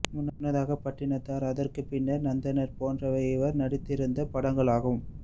முன்னதாக பட்டினத்தார் அதற்குப் பின்னர் நந்தனார் போன்றவை இவர் நடித்திருந்த படங்களாகும்